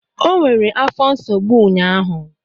O nwere afọ nsogbu ụnyahụ.